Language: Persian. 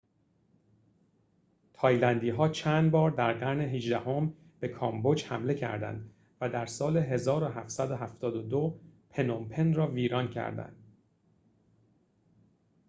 تایلندی‌ها چندبار در قرن هجدهم به کامبوج حمله کردند و در سال ۱۷۷۲ پنوم‌پن را ویران کردند